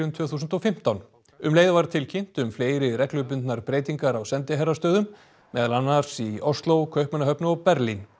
tvö þúsund og fimmtán um leið var tilkynnt um fleiri reglubundnar breytingar á sendiherrastöðum meðal annars í Ósló Kaupmannahöfn og Berlín